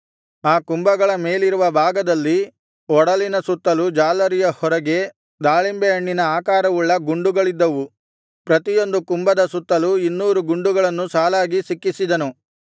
ಆ ಕುಂಭಗಳ ಮೇಲಿರುವ ಭಾಗದಲ್ಲಿ ಒಡಲಿನ ಸುತ್ತಲೂ ಜಾಲರಿಯ ಹೊರಗೆ ದಾಳಿಂಬೆ ಹಣ್ಣಿನ ಆಕಾರವುಳ್ಳ ಗುಂಡುಗಳಿದ್ದವು ಪ್ರತಿಯೊಂದು ಕುಂಭದ ಸುತ್ತಲೂ ಇನ್ನೂರು ಗುಂಡುಗಳನ್ನು ಸಾಲಾಗಿ ಸಿಕ್ಕಿಸಿದನು